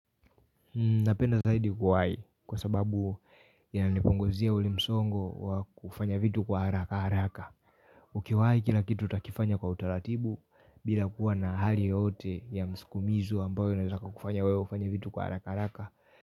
Napenda zaidi kuwai kwa sababu ya nipunguzia ule msongo wa kufanya vitu kwa haraka haraka. Ukiwai kila kitu utakifanya kwa utaratibu bila kuwa na hali yotyoe ya msukumizo ambayo inaezaka kufanya weo ufanya vitu kwa haraka haraka.